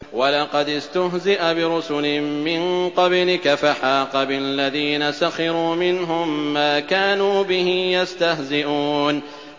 وَلَقَدِ اسْتُهْزِئَ بِرُسُلٍ مِّن قَبْلِكَ فَحَاقَ بِالَّذِينَ سَخِرُوا مِنْهُم مَّا كَانُوا بِهِ يَسْتَهْزِئُونَ